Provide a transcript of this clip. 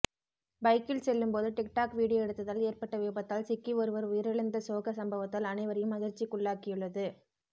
பைக்கில் செல்லும் போது டிக்டாக் வீடியோ எடுத்ததால் ஏற்பட்ட விபத்தால் சிக்கி ஒருவர் உயிரிழந்த சோக சம்பவத்தால் அனைவரையும் அதிர்ச்சிக்குள்ளாக்கியுள்ளது